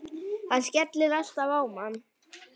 Hann skellir alltaf á mann!